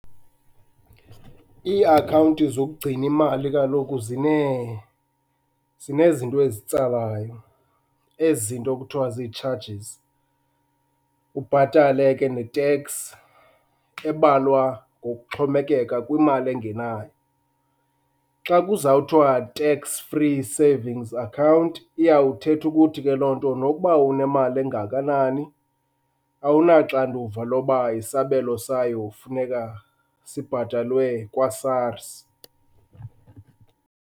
Iiakhawunti zokugcina imali kaloku zinezinto ezitsalayo, ezi zinto kuthiwa zii-charges, ubhatale ke neteks ebalwa ngokuxhomekeka kwimali engenayo. Xa kuzawuthiwa tax free savings account iyawuthetha ukuthi ke loo nto nokuba unemali engakanani awunaxanduva loba isabelo sayo funeka sibhatalwe kwaSARS.